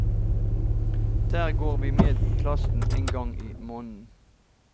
Der går vi med klassen en gang i måneden.